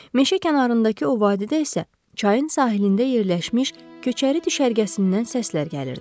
Meşə kənarındakı o vadidə isə çayın sahilində yerləşmiş köçəri düşərgəsindən səslər gəlirdi.